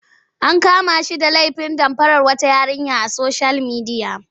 An kama shi da lefin damfarar wata yarinya a soshiyal midiya.